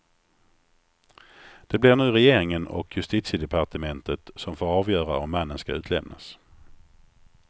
Det blir nu regeringen och justitiedepartementet som får avgöra om mannen skall utlämnas.